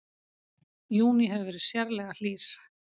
Júní hefur verið sérlega hlýr